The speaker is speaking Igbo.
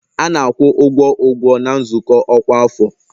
A na-akwụ ụgwọ ụgwọ na nzukọ ọkwa afọ